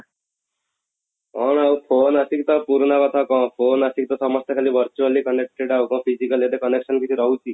କ'ଣ ଆଉ phone ଆସିକି ତ ପୁରୁଣା କଥା ଆଉ କ'ଣ phone ଆସିକି ତ ସମସ୍ତେ ଖାଲି virtually connected ଆଉ କଣ physically ଏତେ connection କିଛି ରହୁଛି